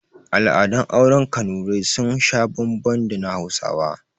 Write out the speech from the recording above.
Al'adun auren kanurai sun sha bambam da na hausawa